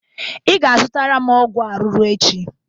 Ị ga-azụtara m ọgwụ arụrụ echi